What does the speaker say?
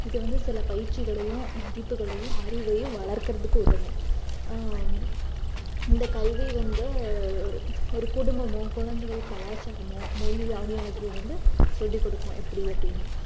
இது வந்து சில பயிற்சிகளையும், மதிப்புகளையும், அறிவையும் வளர்க்கிறதுக்கு உதவும் ஆஹ் இந்த கல்வி வந்து ஒரு ஒரு குடும்பமும் குழந்தைகள் கலாச்சாரமும் மொழி ஆகியவற்றை வந்து சொல்லிக் கொடுக்கும் எப்படி அப்படின்னு